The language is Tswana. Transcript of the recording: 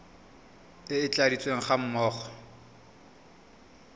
e e tladitsweng ga mmogo